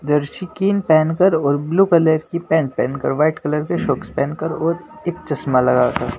Jersey कीन पहनकर और ब्लू कलर की पेंट पहनकर वाइट कलर के शॉक्स पहनकर और एक चश्मा लगा कर--